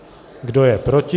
Kdo je proti?